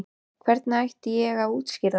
Hvernig ætti ég að útskýra það?